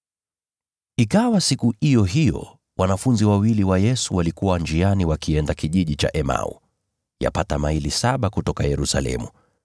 Ikawa siku iyo hiyo, wanafunzi wawili wa Yesu walikuwa njiani wakienda kijiji kilichoitwa Emau, yapata maili saba kutoka Yerusalemu.